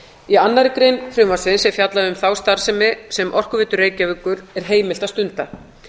í annarri grein frumvarpsins er fjallað um þá starfsemi sem orkuveitu reykjavíkur er heimilt að stunda